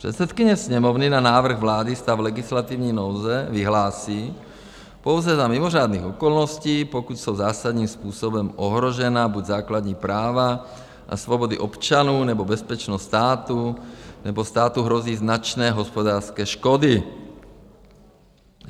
Předsedkyně Sněmovny na návrh vlády stav legislativní nouze vyhlásí pouze za mimořádných okolností, pokud jsou zásadním způsobem ohrožena buď základní práva a svobody občanů, nebo bezpečnost státu, nebo státu hrozí značné hospodářské škody.